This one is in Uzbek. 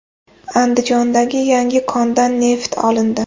Andijondagi yangi kondan neft olindi.